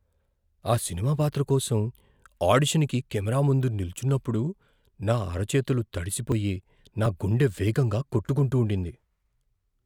ఆ సినిమా పాత్ర కోసం ఆడిషన్‌కి కెమెరా ముందు నిల్చున్నప్పుడు నా అరచేతులు తడిసిపోయి నా గుండె వేగంగా కొట్టుకుంటూండింది.